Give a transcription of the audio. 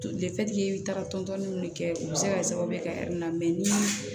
i bɛ taga tɔntɔn ninnu de kɛ u bɛ se ka kɛ sababu ye ka na ni